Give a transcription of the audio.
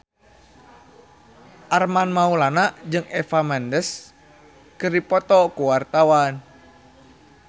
Armand Maulana jeung Eva Mendes keur dipoto ku wartawan